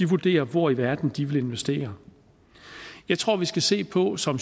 vurdere hvor i verden de vil investere jeg tror vi skal se på som